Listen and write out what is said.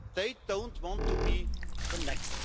They don't want to be the next.